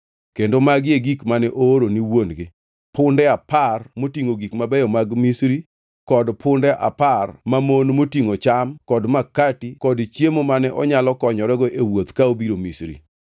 Kendo magi e gik mane ooro ni wuon-gi: punde apar motingʼo gik mabeyo mag Misri kod punde apar mamon motingʼo cham kod makati kod chiemo mane onyalo konyorego e wuoth ka obiro Misri.